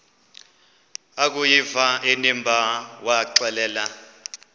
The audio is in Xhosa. akuyiva inimba waxelela